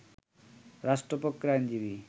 রাষ্ট্রপক্ষের আইনজীবী